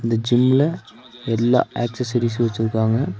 இந்த ஜிம்ல எல்லா ஆக்ஸஸரீசு வச்சுருக்காங்க.